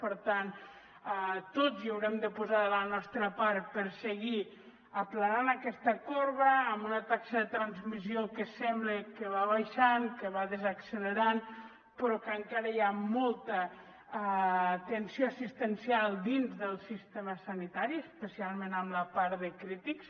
per tant tots hi haurem de posar de la nostra part per seguir aplanant aquesta corba amb una taxa de transmissió que sembla que va baixant que va desaccelerant però que encara hi ha molta tensió assistencial dins del sistema sanitari especialment en la part de crítics